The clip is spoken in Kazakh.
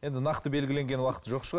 енді нақты белгіленген уақыты жоқ шығар